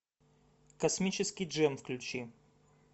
космический джем включи